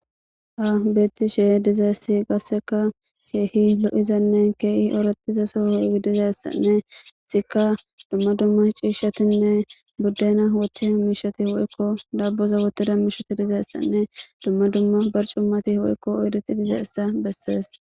ha beetti she dizayssi gasseka heehi lo7izanne keehi orattiza sohowi dizayssanne sika dumma dumma ciishatinne buddena woththe miishati woykko dabboza wotida miishoti dizayssanne dumma dumma barcummati woykko oyriti diza essa bessees